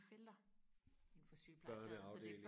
felter inden for sygeplejefaget så det er